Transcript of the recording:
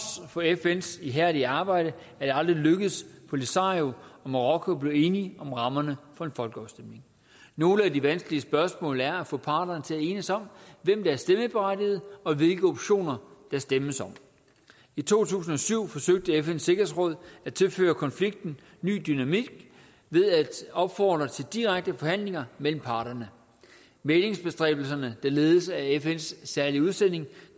for fns ihærdige arbejde er det aldrig lykkedes polisario og marokko at blive enige om rammerne for en folkeafstemning nogle af de vanskelige spørgsmål er at få parterne til at enes om hvem der er stemmeberettigede og hvilke optioner der stemmes om i to tusind og syv forsøgte fns sikkerhedsråd at tilføre konflikten ny dynamik ved at opfordre til direkte forhandlinger mellem parterne mæglingsbestræbelserne der ledes af fns særlige udsending